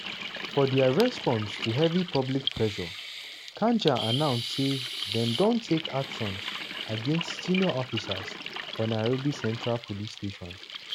for dia response to heavy public pressure kanja announce say dem don take actions against senior officers for nairobi central police station.